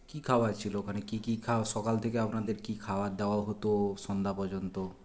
কী খাওয়ার ছিল ওখানে কী কী খাওয়া সকাল থেকে আপনাদের কী খাওয়ার দেওয়া হতো সন্ধ্যা পর্যন্ত